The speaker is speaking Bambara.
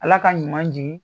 Ala ka ɲuman jigin